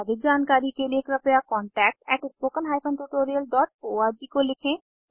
अधिक जानकारी के लिए क्रपया contactspoken tutorialorg को लिखें